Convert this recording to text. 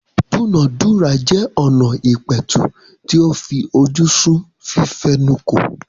ìdúnàádúrà jẹ́ ọna ìpẹ̀tù tí ó fi ojú sun fífẹnukò.